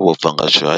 vho bva nga tsho.